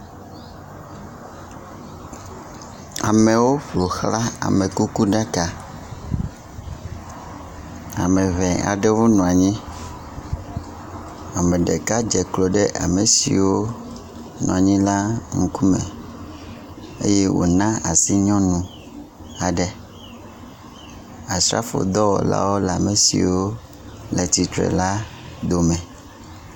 Amewo ƒoxla amekukuɖaka. Ame ŋɛ aɖewo nɔanyi. Ame ɖeka dze klo ɖe ame siwo nɔanyi la ŋkume eye wòna asi nyɔnu aɖe. Asrafodɔwɔlawo le ame siwo le tsitre la dome.